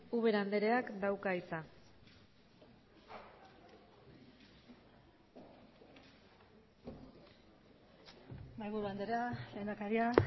ubera anderea dauka hitza mahaiburu andrea lehendakaria